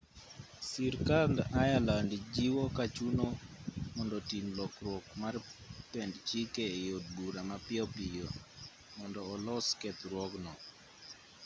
sirkand ireland jiwo ka chuno mondo tim lokruok mar pend chike e od bura mapiyo piyo mondo olos kethruogno